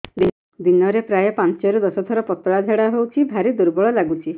ଦିନରେ ପ୍ରାୟ ପାଞ୍ଚରୁ ଦଶ ଥର ପତଳା ଝାଡା ହଉଚି ଭାରି ଦୁର୍ବଳ ଲାଗୁଚି